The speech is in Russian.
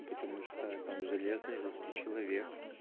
потому что я там железный русский человек